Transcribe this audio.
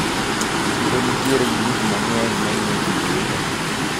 Chiro nitiere gi gikmang`eny mamiyo ji ilo.